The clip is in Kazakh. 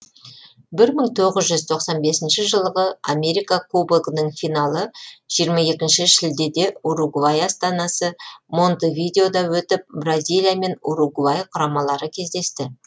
бір мың тоғыз жүз тоқсан бесінші жылғы америка кубогының финалы жиырма екінші шілдеде уругвай астанасы монтевидеода өтіп бразилия және уругвай құрамалары кездесті